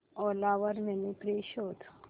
ओला वर mini fridge शोध